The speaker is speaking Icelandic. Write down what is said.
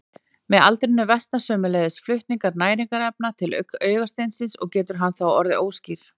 Með aldrinum versnar sömuleiðis flutningur næringarefna til augasteinsins og getur hann þá orðið óskýr.